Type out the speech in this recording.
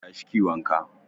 Tashi kiyi wanka